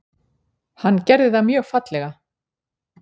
Hann gerði það mjög fallega.